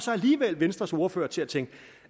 så alligevel venstres ordfører til at tænke